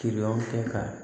Kiliyanw tɛ ka